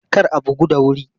Kar a bugu da wuri!